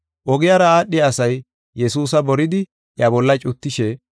Ogiyara aadhiya asay Yesuusa boridi, iya bolla cuttishe,